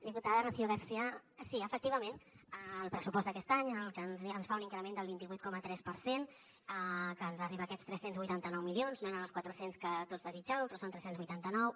diputada rocio garcia sí efectivament el pressupost d’aquest any en el que es fa un increment del vint vuit coma tres per cent que ens arriba a aquests tres cents i vuitanta nou milions no eren els quatre cents que tots desitjàvem però en són tres cents i vuitanta nou